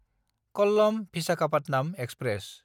कल्लम–भिसाखापाटनाम express